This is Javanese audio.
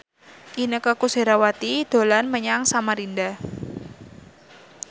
Inneke Koesherawati dolan menyang Samarinda